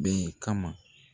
Bi kama.